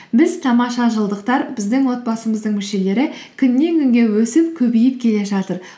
біз тамаша жылдықтар біздің отбасымыздың мүшелері күннен күнге өсіп көбейіп келе жатыр